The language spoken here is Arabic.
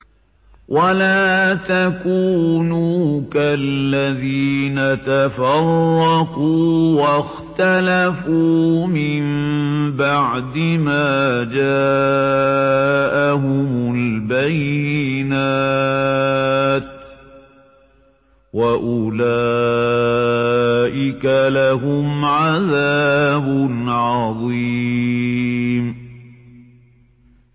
وَلَا تَكُونُوا كَالَّذِينَ تَفَرَّقُوا وَاخْتَلَفُوا مِن بَعْدِ مَا جَاءَهُمُ الْبَيِّنَاتُ ۚ وَأُولَٰئِكَ لَهُمْ عَذَابٌ عَظِيمٌ